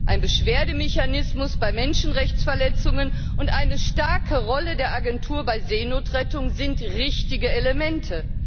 Ein Beschwerdemechanismus bei Menschenrechtsverletzungen und eine starke Rolle der Agentur bei Seenotrettung sind richtige Elemente.